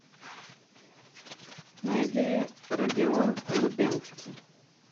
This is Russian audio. найди родион лубенский